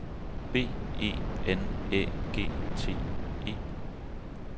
B E N Æ G T E